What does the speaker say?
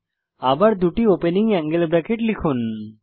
আবার দুটি opening angle bracket লিখুন